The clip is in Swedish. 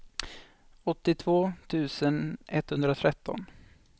åttiotvå tusen etthundratretton